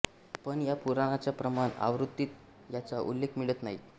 पण या पुराणाच्या प्रमाण आवृत्तीत याचा उल्लेख मिळत नाही